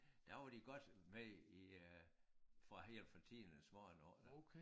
Der var de godt med i øh fra helt fra tidernes morgen oppe